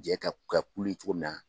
Jɛ ka ka kulu ye cogo min na